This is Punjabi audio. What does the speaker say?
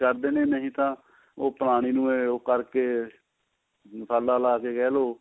ਕਰਦੇ ਨੇ ਨਹੀਂ ਤਾਂ ਉਹ ਪੁਰਾਣੀ ਨੂੰ ਉਹ ਕਰਕੇ ਮਸਾਲਾ ਲਾ ਕੇ ਕਿਹਲੋ